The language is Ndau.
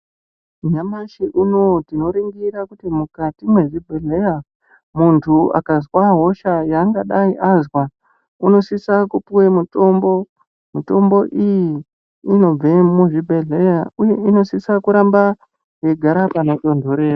Nyamashi unowu tinoningira kuti mukati mwezvibhedhleya munthu akazwa hosha yaangadai azwa unosisa kupuwa mutombo, mitombo iyi inobve muzvibhedhleya uye inosisa kuramba yeigara panotontorera.